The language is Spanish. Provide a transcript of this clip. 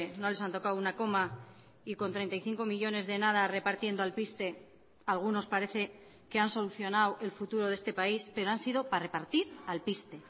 no les han tocado una coma y con treinta y cinco millónes de nada repartiendo alpiste algunos parece que han solucionado el futuro de este país pero han sido para repartir alpiste